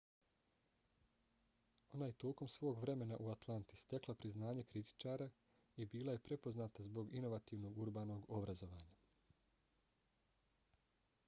ona je tokom svog vremena u atlanti stekla priznanje kritičara i bila je prepoznata zbog inovativnog urbanog obrazovanja